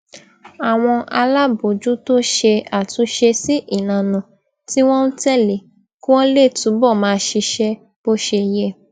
àwọn alábòójútó ṣe àtúnṣe sí ìlànà tí wón ń tèlé kí wón lè túbò máa ṣiṣé bó ṣe yẹ